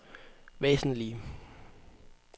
væsentlige